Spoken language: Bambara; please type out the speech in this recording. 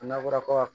N'a fɔra ko